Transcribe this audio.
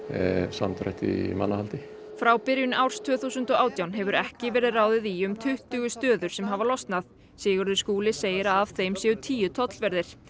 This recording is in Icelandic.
samdrætti í mannahaldi frá byrjun árs tvö þúsund og átján hefur ekki verið ráðið í um tuttugu störf sem hafa losnað Sigurður Skúli segir að af þeim séu tíu tollverðir